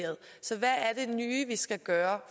vi skal gøre